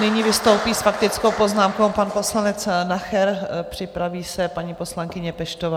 Nyní vystoupí s faktickou poznámkou pan poslanec Nacher, připraví se paní poslankyně Peštová.